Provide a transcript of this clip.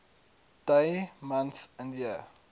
dd mm yyyy